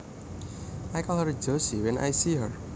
I call her Josie when I see her